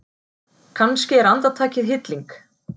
Kannski er andartakið hilling.